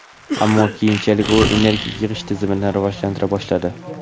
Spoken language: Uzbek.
ammo keyinchalik u energiya yig‘ish tizimini rivojlantira boshladi.